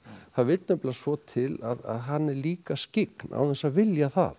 það vill nefnilega svo til að hann er líka skyggn án þess að vilja það